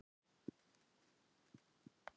Maðurinn í íbúðinni við hliðina á okkur hét